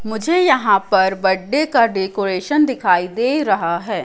मुझे यहां पर बर्थडे का डेकोरेशन दिखाई दे रहा है।